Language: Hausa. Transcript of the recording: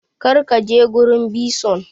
Kar ka je gurin bison!